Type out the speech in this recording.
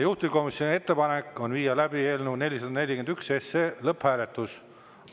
Juhtivkomisjoni ettepanek on viia läbi eelnõu 441 lõpphääletus.